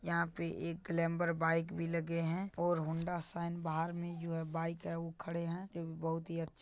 यहाँ पे एक ग्लैमर बाइक भी लगे हैं और हौंडा साइन बहार में जो है बाइक है वो खड़े हैं जो बहुत ही अच्छे--